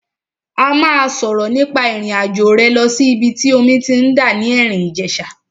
A máa sọ̀rọ̀ nípa ìrìn àjò rẹ lọ sí ìbi tí omi ti ń dà ní Erin Ijesa.